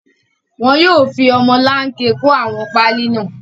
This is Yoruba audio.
Wọn yóò fi ọmọlanke kó àwọn páálí náà.